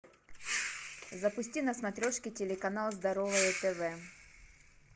запусти на смотрешке телеканал здоровое тв